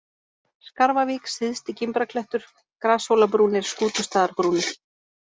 Skarfavík, Syðsti-Gimbraklettur, Grashólabrúnir, Skútustaðarbrúnir